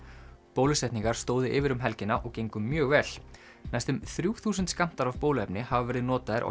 bólusetningar stóðu yfir um helgina og gengu mjög vel næstum þrjú þúsund skammtar af bóluefni hafa verið notaðir á